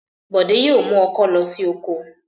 Bọ̀dé yóò mú ọkọ́ lọ sí oko.